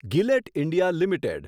ગિલેટ India limited